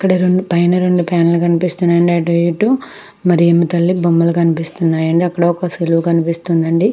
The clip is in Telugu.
ఇక్కడ రెండు పైన రెండు ఫ్యాన్లు కనిపిస్తున్నాయండి అటు ఇటు మరేమో తెలియని బొమ్మలు కనిపిస్తున్నాయి. అక్కడ ఒక సిలువ కనిపిస్తుంది.